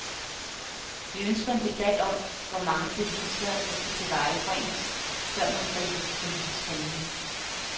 Vi ønsker en debat om, hvor mange beviser der skal tilvejebringes, før man griber til politisk handling.